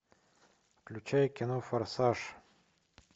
включай кино форсаж